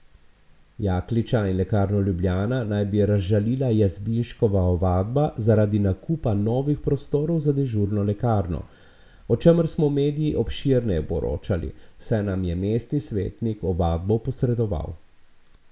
Jakliča in Lekarno Ljubljana naj bi razžalila Jazbinškova ovadba zaradi nakupa novih prostorov za dežurno lekarno, o čemer smo mediji obširneje poročali, saj nam je mestni svetnik ovadbo posredoval.